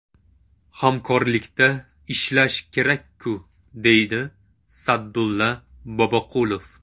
Hamkorlikda ishlash kerak-ku”, deydi Sa’dulla Boboqulov.